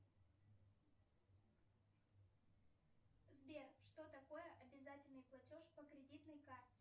сбер что такое обязательный платеж по кредитной карте